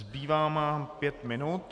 Zbývá nám pět minut.